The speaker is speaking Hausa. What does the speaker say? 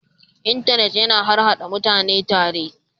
intanet yana haɗa / Haɗa mutane tare